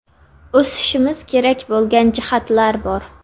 O‘sishimiz kerak bo‘lgan jihatlar bor.